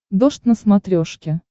дождь на смотрешке